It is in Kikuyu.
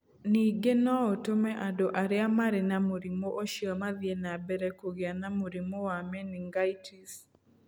Ningĩ no ĩtũme andũ arĩa marĩ na mũrimũ ũcio mathiĩ na mbere kũgĩa na mũrimũ wa meningitis.